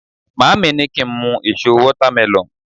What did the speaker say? maami ni ki n mu eso watermelon